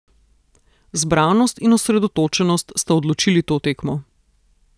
Zbranost in osredotočenost sta odločili to tekmo.